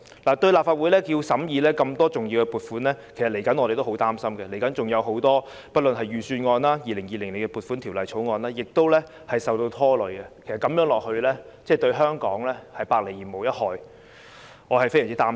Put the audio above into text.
對於立法會要審議這麼多重要撥款，我們其實也很擔心，財政預算案及《2020年撥款條例草案》均會受拖累，情況持續的話，對香港是百害而無一利，我對此非常擔心。